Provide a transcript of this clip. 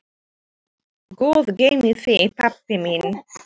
Guð geymi þig, pabbi minn.